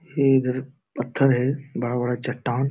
ये इधर पत्थर है बड़ा-बड़ा चट्टान।